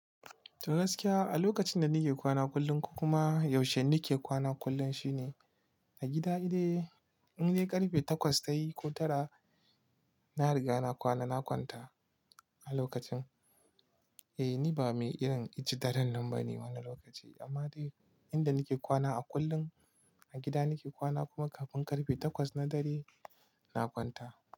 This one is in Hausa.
To gaskiya, a lokacin da nike kwana kullum ko kuma yaushe nike kwana kullum shine a gida dai, indai dai ƙarfe takwas tayi ko tara na riga na kwana, na kwanta. A lokacin, eh ni ba mai irin inci daren nan bane wannan lokaci amma dai inda nike kwana a kullum a gida nike kwana kuma kafin ƙarfe takwas na dare na kwanta.